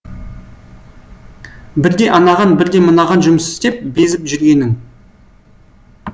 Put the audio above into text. бірде анаған бірде мынаған жұмыс істеп безіп жүргенің